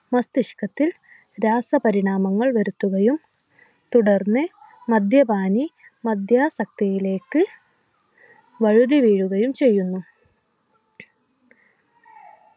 മസ്തിഷ്കത്തിൽ രാസപരിണാമങ്ങൾ വരുത്തുകയും തുടർന്ന് മദ്യപാനി മദ്യാസക്തിയിലേക്ക് വഴുതിവീഴുകയും ചെയ്യുന്നു